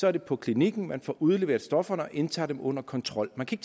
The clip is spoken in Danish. er det på klinikken man får udleveret stofferne og indtager dem under kontrol man kan